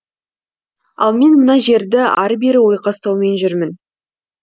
ал мен мына жерді ары бері ойқастаумен жұрмін